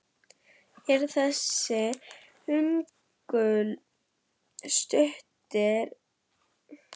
Eru þessir hnullungar stundum ærið stórir.